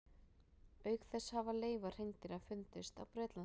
Auk þess hafa leifar hreindýra fundist á Bretlandseyjum.